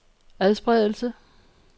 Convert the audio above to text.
adspredelse